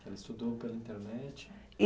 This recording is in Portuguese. Ela estudou pela internet?